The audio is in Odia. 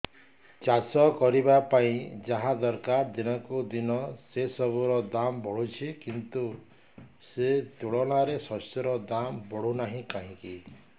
ଚାଷ କରିବା ପାଇଁ ଯାହା ଦରକାର ଦିନକୁ ଦିନ ସେସବୁ ର ଦାମ୍ ବଢୁଛି କିନ୍ତୁ ସେ ତୁଳନାରେ ଶସ୍ୟର ଦାମ୍ ବଢୁନାହିଁ କାହିଁକି